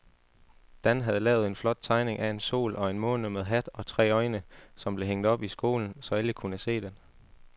Dan havde lavet en flot tegning af en sol og en måne med hat og tre øjne, som blev hængt op i skolen, så alle kunne se den.